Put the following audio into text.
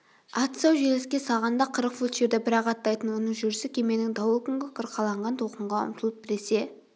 ат сау желіске салғанда қырық фут жерді бір-ақ аттайтын оның жүрісі кеменің дауыл күнгі қырқаланған толқынға ұмтылып біресе